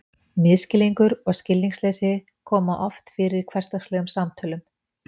Misskilningur og skilningsleysi koma oft fyrir í hversdagslegum samtölum.